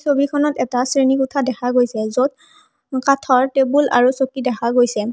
ছবিখনত এটা শ্ৰেণীকোঠা দেখা গৈছে য'ত কাঠৰ টেবুল আৰু চকী দেখা গৈছে।